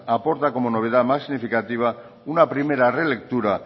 aporta como novedad más significativa una primera relectura